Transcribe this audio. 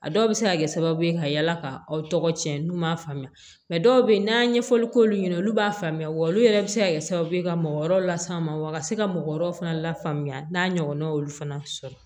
A dɔw bɛ se ka kɛ sababu ye ka yala ka aw tɔgɔ tiɲɛ n'u m'a faamuya dɔw bɛ yen n'an ye ɲɛfɔli k'olu ɲɛna olu b'a faamuya wa olu yɛrɛ bɛ se ka kɛ sababu ye ka mɔgɔ wɛrɛw las'a ma wa ka se ka mɔgɔ wɛrɛw fana lafaamuya n'a ɲɔgɔnnaw y'olu fana sɔrɔ